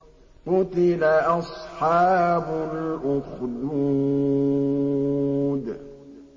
قُتِلَ أَصْحَابُ الْأُخْدُودِ